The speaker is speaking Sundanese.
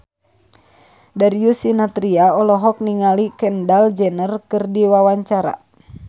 Darius Sinathrya olohok ningali Kendall Jenner keur diwawancara